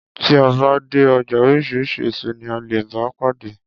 Tí a bá dé ọjà oríṣiríṣi èso ní a lè bá pàdé.